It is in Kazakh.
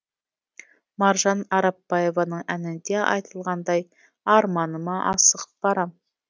маржан арапбаеваның әнінде айтылғандай арманыма асығып барам